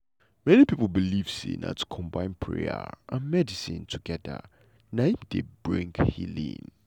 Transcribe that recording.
many people believe say na to combine prayer and medicine together na im dey bring healing.